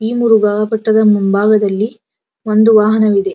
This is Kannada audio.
ಈ ಮುರುಗ ಬೆಟ್ಟದ ಮುಂಭಾಗದಲ್ಲಿ ಒಂದು ವಾಹನವಿದೆ.